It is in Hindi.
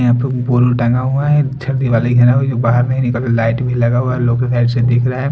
यहाँ पुल टंगा हुआ है छ दिवाली के अलावा जो बाहर नहीं निकल रहे लाइट भी लगा हुआ हैं उन लोगो की साइड से दिखरा है।